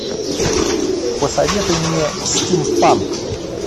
посоветуй мне стимпанк